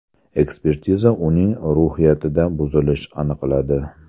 Ekspertiza uning ruhiyatida buzilish aniqladi.